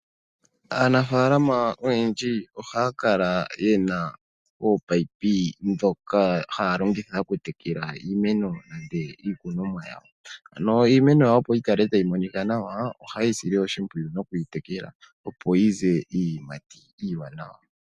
Aanafalama oyendji ohaya kala yena ominino ndhoka haya longitha okutekela iimeno nenge iikunomwa yawo. Iimeno yawo opo yi kale tayi monika nawa ohaye yi sile oshimpwiyu nokuyi tekela opo yi ze iiyimati iiwanawa.